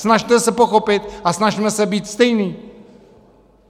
Snažme se pochopit a snažme se být stejní.